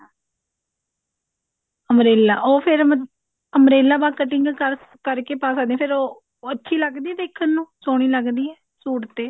umbrella ਉਹ ਫ਼ੇਰ ਮਤਲਬ umbrella ਪਾ cutting ਕਰਕੇ ਪਾ ਸਕਦੇ ਹਾਂ ਫ਼ੇਰ ਉਹ ਅੱਛੀ ਲੱਗਦੀ ਹੈ ਦੇਖਣ ਨੂੰ ਸੋਹਣੀ ਲੱਗਦੀ ਹੈ ਸੂਟ ਹੈ